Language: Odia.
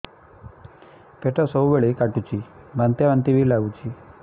ପେଟ ସବୁବେଳେ କାଟୁଚି ବାନ୍ତି ବାନ୍ତି ବି ଲାଗୁଛି